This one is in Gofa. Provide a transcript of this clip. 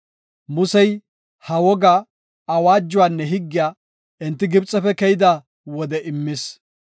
Musey ha wogaa, awaajuwanne higgiya enti Gibxefe keyida wode immis.